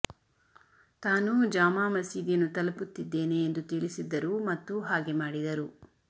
ತಾನು ಜಾಮಾ ಮಸೀದಿಯನ್ನು ತಲುಪುತ್ತಿದ್ದೇನೆ ಎಂದು ತಿಳಿಸಿದ್ದರು ಮತ್ತು ಹಾಗೆ ಮಾಡಿದರು